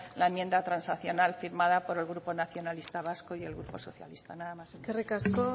la enmienda transaccional firmado por el grupo nacionalista vasco y el grupo socialista nada más eskerrik asko